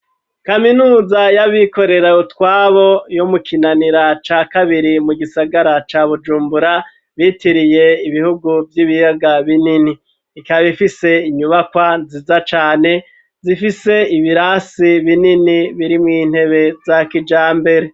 Kaminuza y'abikorera wutwabo yo mukinanira ca kabiri mu gisagara ca bujumbura bitiriye ibihugu vy'ibiyaga binini ikabifise inyubakwa nziza cane zifise ibirasi binini biri mw'intebe za kija mbere.